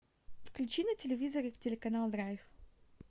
включи на телевизоре телеканал драйв